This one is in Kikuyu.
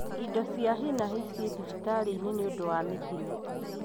Indo cia hi na hi ciĩ thibitari-inĩ nĩũndũ wa mĩtino